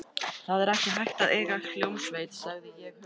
Það er ekki hægt að eiga hljómsveit, sagði ég huggandi.